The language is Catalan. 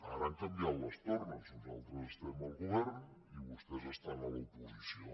ara han canviat les tornes nosaltres estem al govern i vostès estan a l’oposició